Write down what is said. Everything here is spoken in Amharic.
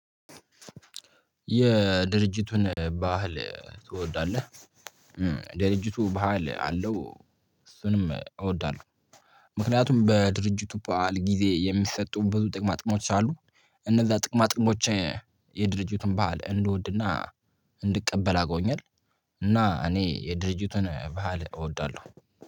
የድርጅቱን ባህል ትወዳለህ? ድርጅቱ ባህል አለው። እሱንም እወዳለሁ። ምክንያቱም በድርጅቱ በዓል ጊዜ የሚሰጡን ብዙ ጥቅም አጥቅሞች አሉ። እነዛ ጥቅማ ጥቅሞች የድርጅቱን ባህል እንድወድና እንድቀበል አርጎኛል። እና እኔ የድርጅቱን ባህል እወዳለሁ